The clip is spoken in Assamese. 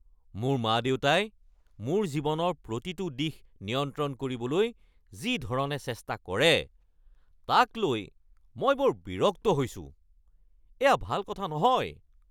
মোৰ মা-দেউতাই মোৰ জীৱনৰ প্ৰতিটো দিশ নিয়ন্ত্ৰণ কৰিবলৈ যি ধৰণে চেষ্টা কৰে তাক লৈ মই বৰ বিৰক্ত হৈছোঁ। এয়া ভাল কথা নহয়।